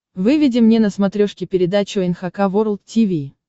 выведи мне на смотрешке передачу эн эйч кей волд ти ви